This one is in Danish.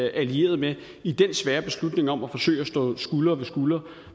allieret med i den svære beslutning om at forsøge at stå skulder ved skulder